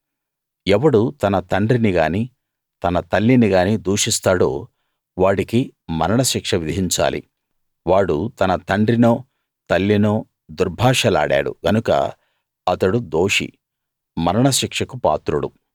ఎవడు తన తండ్రినిగానీ తన తల్లినిగానీ దూషిస్తాడో వాడికి మరణశిక్ష విధించాలి వాడు తన తండ్రినో తల్లినో దుర్భాషలాడాడు గనక అతడు దోషి మరణ శిక్షకు పాత్రుడు